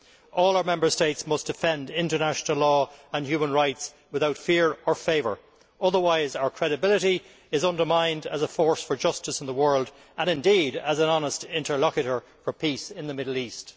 All our Member States must defend international law and human rights without fear or favour, otherwise our credibility is undermined as a force for justice in the world and, indeed, as an honest interlocutor for peace in the Middle East.